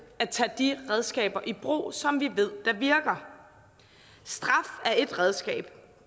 at tage de redskaber i brug som vi ved virker straf er ét redskab